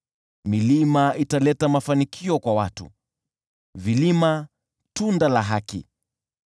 Milima italeta mafanikio kwa watu, vilima tunda la haki.